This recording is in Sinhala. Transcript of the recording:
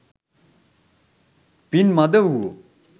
පින් මඳ වූවෝ